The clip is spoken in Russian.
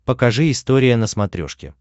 покажи история на смотрешке